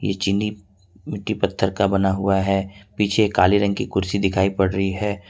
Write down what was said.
ये चीनी मिट्टी पत्थर का बना हुआ है पीछे काले रंग की कुर्सी दिखाई पड़ रही है।